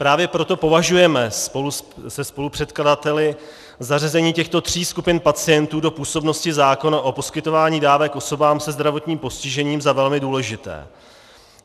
Právě proto považujeme se spolupředkladateli zařazení těchto tří skupin pacientů do působnosti zákona o poskytování dávek osobám se zdravotním postižením za velmi důležité.